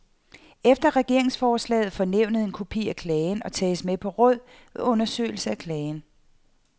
Efter regeringsforslaget får nævnet en kopi af klagen og tages med på råd ved undersøgelsen af klagen.